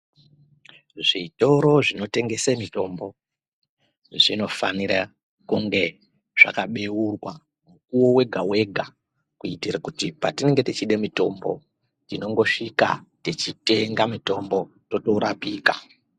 Zvitoro zvinotengesa mitombo zvinofanira kunge zvakabeurwa mukuwo wega kuitire kuti patinenge tichide mutombo tinongosvika tichitenga mutombo torapika.